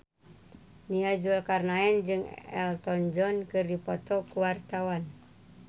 Nia Zulkarnaen jeung Elton John keur dipoto ku wartawan